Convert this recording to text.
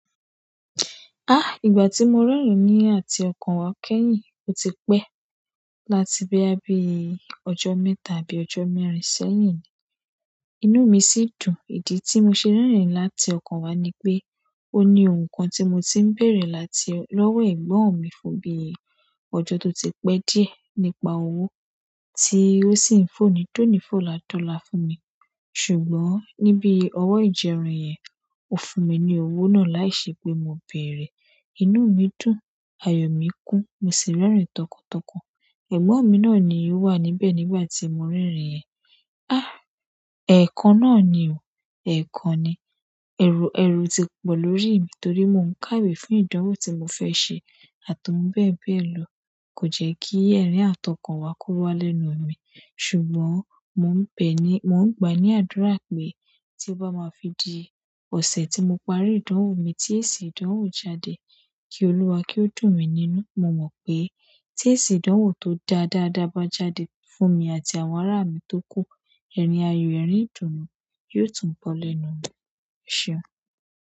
Ah! Ìgbà tí mo rírin ní àti ọkàn wá kẹ́yìn, ó ti pẹ́ láti bí i bí i ọjọ́ mẹ́ta àbí ọjọ́ mẹ́rin sẹ́yìn ni. Inú mi sì dùn. Ìdí tí mo ṣe rerin láti ọkàn wá ni pé, ó ní ohun kan tí mo ti ń bèèrè láti lọ́wọ́ ẹ̀gbọ́n mi fún bí i ọjọ́ tó ti pẹ́ díẹ̀ nípa owó tí ó sì ń fòní dónífòlà dọ́la fún mi. Ṣùgbọ́n ni bi owo ijeerin yen o fún mi ni owo náà laise pe mo beere. Ẹ̀gbọ́n mi náà ni ó wà níbẹ̀ nígbà tí mo rerin yẹn. Ah! Ẹ̀ẹ̀kan náà ni o. Ẹ̀ẹ̀kan ni. Èrù, èrù tó pọ̀ lórí mi torí mo ń káwé fún ìdánwò tí mo fẹ́ ṣe àti ohun bẹ́ẹ̀ bẹ́ẹ̀ lọ. Ko je ki erin àti okan wa ko wa lẹ́nu mi ṣùgbọ́n mo ń gbà ní àdúrà pé tí ó bá máa fi di ọ̀sẹ̀ tí mo parí ìdánwò mi tí èsì ìdánwò jáde, kí Olúwa kí ó dùn mí nínú. Mo mọ pe ti eesi ìdánwò to dára daada ba jáde fún mi àti àwọn ara mi to ku, erin ayọ, erin idunu yio tun bo lẹ́nu mi.